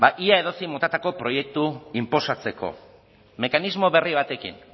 ia edozein motatako proiektu inposatzeko mekanismo berri batekin